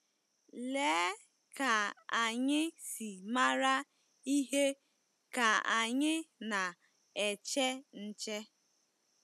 Lee ka anyị si mara ihe ka anyị na-eche nche!